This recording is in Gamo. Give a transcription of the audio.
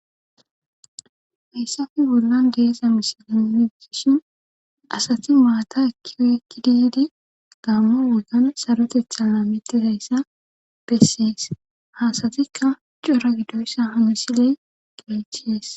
Meyssafi bollan deesa misile midishin asati maata ekkiyo ekki diidi gammo wogan sarotetha laamitti hayssa bessees hasatikka cora gidoyssa hamisile gechies.